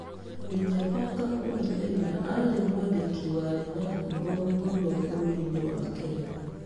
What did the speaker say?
Binyavanga Wainaina aarĩ mwandĩki warĩ na ngumo mũno bũrũriinĩ wa Kenya.